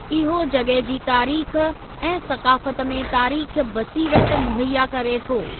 इहो जॻह जी तारीख़ ऐं सक़ाफ़त में तारीख़ी बसीरत मुहैया करे थो।